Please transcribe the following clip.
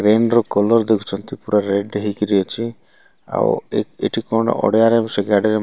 pain ର colour ଦେଖୁଛନ୍ତି ପୁରା ରେଡ ହେଇକିରି ଅଛି ଆଉ ଏଠି କଣ ଅଳିଆରେ ସିଗାରେଟ --